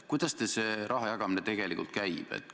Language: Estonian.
Kuidas teil see raha jagamine tegelikult käib?